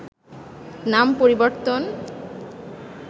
নাম পরিবর্তন